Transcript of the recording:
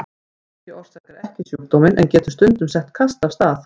Áfengi orsakar ekki sjúkdóminn en getur stundum sett kast af stað.